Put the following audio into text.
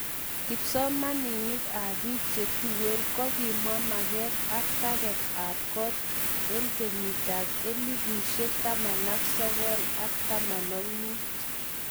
Kipsomanik ap pik che tuen ko kimwa maget ap teget ap kot en kenyit 1915